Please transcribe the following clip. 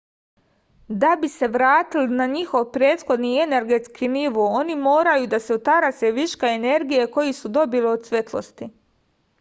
da bi se vratili na njihov prethodni energetski nivo oni moraju da se otarase viška energije koju su dobili od svetlosti